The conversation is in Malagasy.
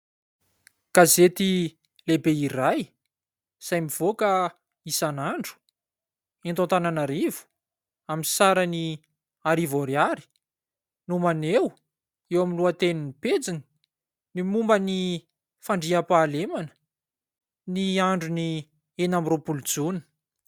Gazety lehibe iray izay mivoaka isan'andro eto Antananarivo amin'ny sarany arivo ariary no maneho eo amin'ny lohatenin'ny pejiny ny momba ny fandriam-pahalemana ny andron'ny enina amby roapolo jona.